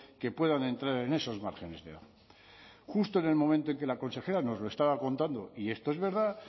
que puedan entrar en esos márgenes de edad justo en el momento en que la consejera nos lo estaba contando y esto es verdad